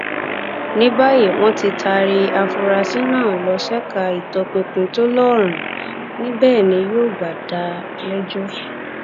ní báyìí wọn ti taari àfúráṣí náà lọ ṣèkà ìtọpinpin tó lóòrín níbẹ ni yóò gbà déléẹjọ